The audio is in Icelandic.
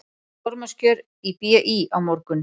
Formannskjör í BÍ á morgun